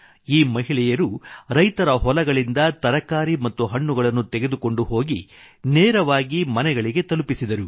ಈ ಮಹಿಳೆಯರು ರೈತರ ಹೊಲಗಳಿಂದ ತರಕಾರಿ ಮತ್ತು ಹಣ್ಣುಗಳನ್ನು ತೆಗೆದುಕೊಂಡುಹೋಗಿ ನೇರವಾಗಿ ಮನೆಗಳಿಗೆ ತಲುಪಿಸಿದರು